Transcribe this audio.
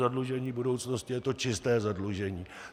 Zadlužení budoucnosti je to čisté zadlužení.